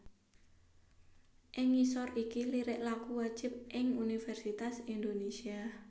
Ing ngisor iki lirik lagu wajib ing Universitas Indonésia